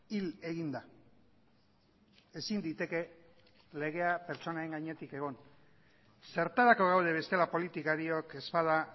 hil egin da ezin liteke legea pertsonen gainetik egon zertarako gaude bestela politikariok ez bada